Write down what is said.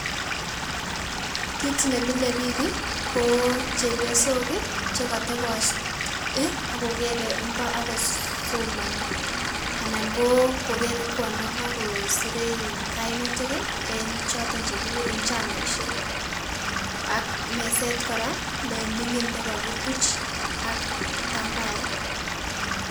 Kiit nemile biik ko chepiosok chekotebot ak kokere ing'o ak kosomoni, anan ko keree kwondo ing'o kosire kainutik en choton chekikuren chamaishek ak meset kora neming'in nekokituch ak itambaet.